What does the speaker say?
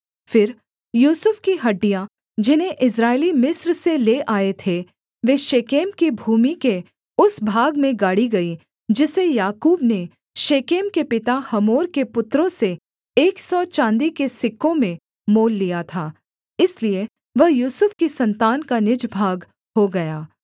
फिर यूसुफ की हड्डियाँ जिन्हें इस्राएली मिस्र से ले आए थे वे शेकेम की भूमि के उस भाग में गाड़ी गईं जिसे याकूब ने शेकेम के पिता हमोर के पुत्रों से एक सौ चाँदी के सिक्कों में मोल लिया था इसलिए वह यूसुफ की सन्तान का निज भाग हो गया